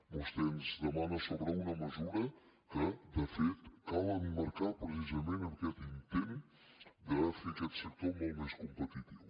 vostè ens demana sobre una mesura que de fet cal emmarcar precisament en aquest intent de fer aquest sector molt més competitiu